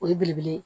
O ye belebele ye